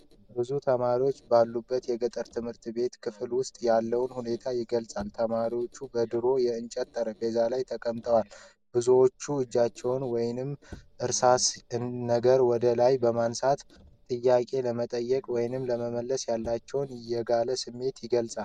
ብዙ ተማሪዎች ባሉበት የገጠር ትምህርት ቤት ክፍል ውስጥ ያለውን ሁኔታ ይገልጻል። ተማሪዎቹ በድሮ የእንጨት ጠረጴዛዎች ላይ ተቀምጠዋል። ብዙዎቹ እጃቸውን ወይም እርሳስ ነገር ወደ ላይ በማንሳት ጥያቄ ለመጠየቅ ወይም ለመመለስ ያላቸውን የጋለ ስሜት ይገልጻል።